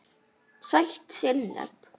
Sætt sinnep